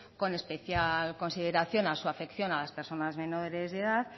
con especial consideración a su afección a las personas menores de edad